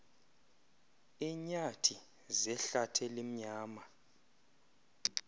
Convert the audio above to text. eenyathi zehlath elimnyama